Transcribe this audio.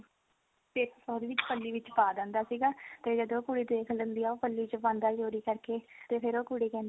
ਤੇ ਉਹਦੇ ਵਿੱਚ ਪੱਲੀ ਵਿੱਚ ਪਾ ਦਿੰਦਾ ਸੀਗਾ ਤੇ ਜਦੋਂ ਉਹ ਕੁੜੀ ਦੇਖ ਲੈਂਦੀ ਆ ਉਹ ਪੱਲੀ ਚ ਪਾਂਦਾ ਚੋਰੀ ਕਰਕੇ ਤੇ ਫਿਰ ਉਹ ਕੁੜੀ ਕਹਿੰਦੀ ਆ